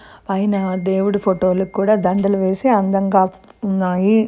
పైన దేవుడి ఫోటోలకు కూడా దండలు వేసి అందంగా ఉన్నాయి.